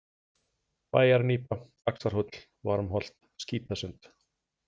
Bæjarnípa, Axarhóll, Varmholt, Skítasund